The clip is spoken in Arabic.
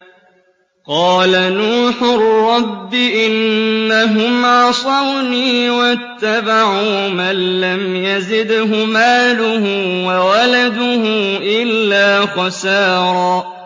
قَالَ نُوحٌ رَّبِّ إِنَّهُمْ عَصَوْنِي وَاتَّبَعُوا مَن لَّمْ يَزِدْهُ مَالُهُ وَوَلَدُهُ إِلَّا خَسَارًا